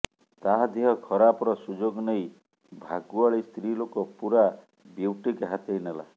ତା ଦେହ ଖରାପର ସୁଯୋଗ ନେଇ ଭାଗୁଆଳୀ ସ୍ତ୍ରୀ ଲୋକ ପୁରା ବ୍ୟୁଟିକ ହାତେଇ ନେଲା